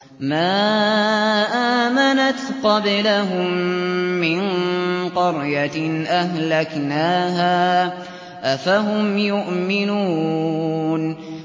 مَا آمَنَتْ قَبْلَهُم مِّن قَرْيَةٍ أَهْلَكْنَاهَا ۖ أَفَهُمْ يُؤْمِنُونَ